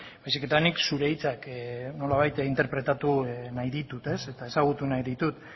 baizik eta nik zure hitzak nolabait interpretatu nahi ditut eta ezagutu nahi ditut